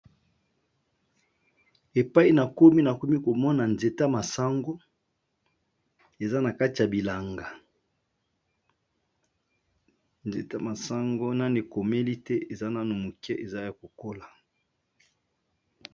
Na moni nzete ya masangu eza na kati ya bilanga , nanu eteli malamu te.